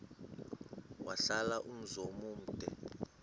wahlala umzum omde